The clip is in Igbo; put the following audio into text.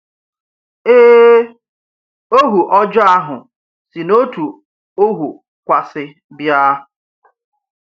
Ee, ohu ọjọọ ahụ si n’òtù ohu kwààsi bịa.